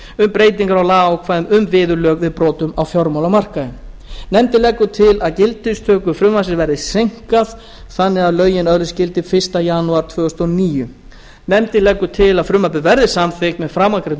um breytingar á lagaákvæðum um viðurlög við brotum á fjármálamarkaði nefndin leggur til að gildistöku frumvarpsins verði seinkað þannig að lögin öðlist gildi fyrsta janúar tvö þúsund og níu nefndin leggur til að frumvarpið verði samþykkt með framangreindum